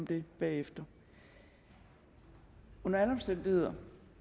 det bagefter under alle omstændigheder